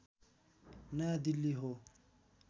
नयाँ दिल्ली हो